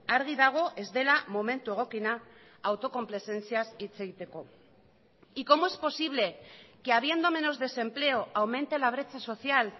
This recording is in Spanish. argi dago ez dela momentu egokiena autokonplazentziaz hitz egiteko y cómo es posible que habiendo menos desempleo aumente la brecha social